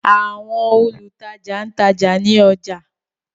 Àwọn olutaja n ta ọja ni ọja.